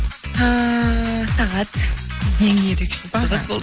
ііі сағат ең ерекше сағат болды